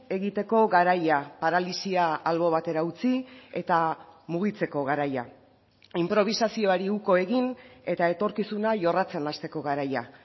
egiteko garaia paralisia albo batera utzi eta mugitzeko garaia inprobisazioari uko egin eta etorkizuna jorratzen hasteko garaia